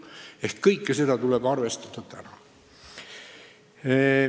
Seega kõike seda tuleb arvestada juba praegu.